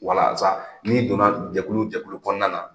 Walasa n'i donna jɛkulu jɛkulu kɔnɔna na,